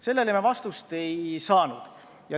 Sellele ma vastust ei saanud.